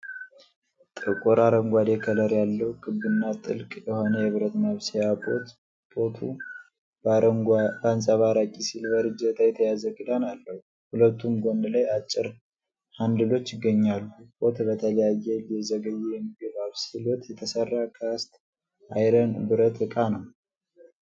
ጥቁር አረንጓዴ ከለር ያለው፣ ክብና ጥልቅ የሆነ የብረት ማብሰያ ፖት ፖቱ በአንጸባራቂ ሲልቨር እጀታ የተያዘ ክዳን አለው። ሁለቱም ጎን ላይ አጭር ሃንድሎች ይገኛሉ። ፖት በተለይ ለዘገየ የምግብ አብስሎት የተሰራ ካስት አይረን (ብረት) ዕቃ ነው?